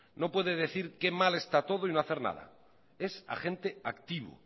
no puede decir qué mal está todo y no hacer nada es agente activo